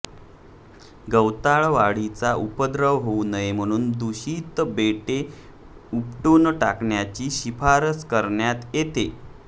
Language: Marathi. गवताळवाढीचा उपद्रव होऊ नये म्हणून दुषित बेटे उपटुन टाकण्याची शिफारस करण्यात येते